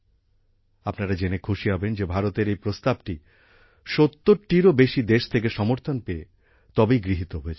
আপনারা জেনে খুশি হবেন যে ভারতের এই প্রস্তাবটি ৭০টিরও বেশি দেশ থেকে সমর্থন পেয়ে তবেই গৃহীত হয়েছে